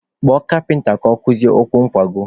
Kpọọ kapịnta ka ọ kụzie ụkwụ nkwago!